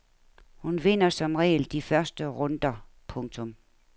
Hun vinder som regel de første runder. punktum